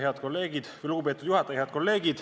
Head kolleegid!